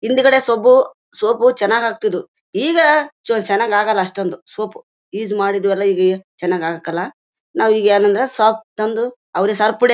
ಹಿಂದ್ಗಡೆ soap soap ಆಗ್ತಾಇದು. ಈಗ ಚನಾಗ್ ಆಗಲ್ಲಾ. ಅಷ್ಟೊಂದು ಸೋಪು ಯೂಸ್ ಮಾಡಿದೀವಲ್ಲಾ ಚನಾಗ್ ಆಗಲ್ಲಾ. ನಾವೀಗ್ ಏನಂದ್ರೆ ಸೋಪ್ ತಂದು ಅವರಿಗೆ